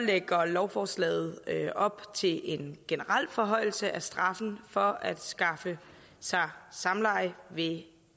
lægger lovforslaget op til en generel forhøjelse af straffen for at skaffe sig samleje ved